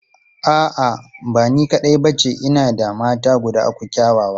A'a, ba ni kaɗai ba ce, ina da mata guda uku kyawawa.